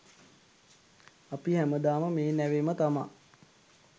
අපි හැමදාම මේ නැවෙම තමා.